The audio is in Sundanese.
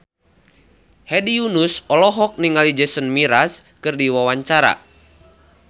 Hedi Yunus olohok ningali Jason Mraz keur diwawancara